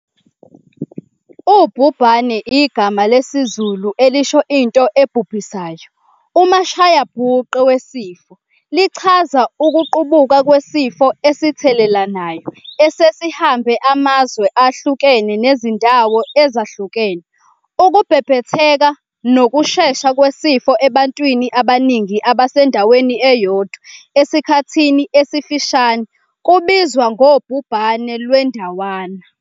Ubhubhane igama lesizulu elisho into ebubhisayo, umashayabhuqe wesifo, lichaza ukuqubuka kwesifo esithelelanayo esesihambe amazwe ahlukene nezindawo ezahlukene. Ukubhebhetheka ngokushesha kwesifo ebantwini abaningi abasendaweni eyodwa esikhathini esifishane kubizwa ngobhubhane lwendawana.